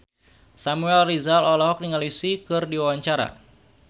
Samuel Rizal olohok ningali Psy keur diwawancara